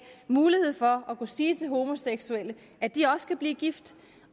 muligheden for at kunne sige til homoseksuelle at de også kan blive gift